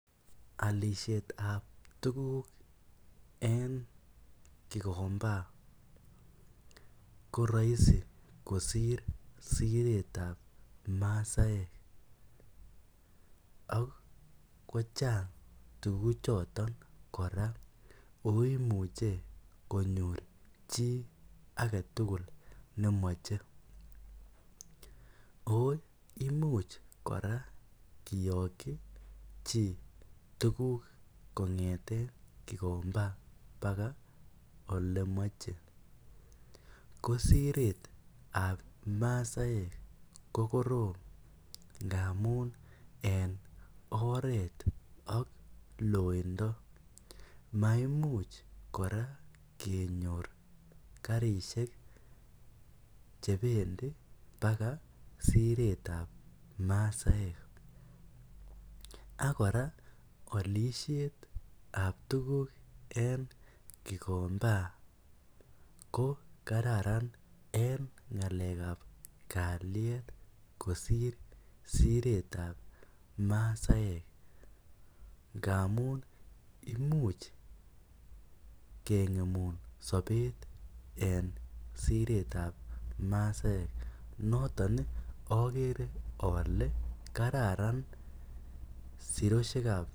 Alisheet ab tuguuk en kigombaa ko raisi kosiir Siret ab masaek ak kochaang tuguuk chotoon kora oo imuchei konyoor chii age tugul ne machei oo imuuch kora kiyakyi chii tuguuk kongethen kikombaa mpaka ole machei ko sireet ab masaek ko korom ngamuun en oret ak loindaa maimuuch kora kenyoor karisheek che bendii mbaka Siret ab masaek ak kora alisheet ab tuguuk en kikombaa ko kararan eng ngalek ab kaliet kosiir Siret ab masaek ngamuun imuuch kengemuun sabeet en siret ab masaek notoon ijagere ale kararan siroisheek ab.